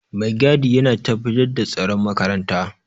Maigadi yana tabbatar da tsaron makaranta